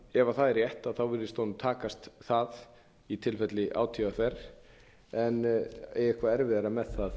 ef það er rétt virðist honum takast það í tilfelli átvr en eigi eitthvað erfiðara með